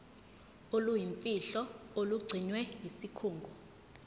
oluyimfihlo olugcinwe yisikhungo